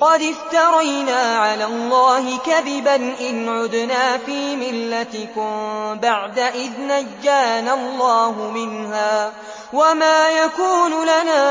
قَدِ افْتَرَيْنَا عَلَى اللَّهِ كَذِبًا إِنْ عُدْنَا فِي مِلَّتِكُم بَعْدَ إِذْ نَجَّانَا اللَّهُ مِنْهَا ۚ وَمَا يَكُونُ لَنَا